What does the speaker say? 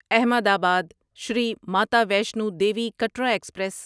احمد آباد شری ماتا ویشنو دیوی کٹرا ایکسپریس